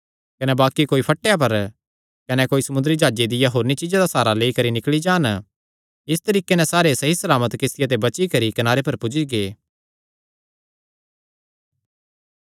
कने बाक्कि कोई फटेयां पर कने कोई समुंदरी जाह्जे दियां होरनी चीज्जां दा साहरा लेई करी निकल़ी जान इस तरीके नैं सारे सहीसलामत किस्तिया ते बची करी कनारे पर पुज्जी गै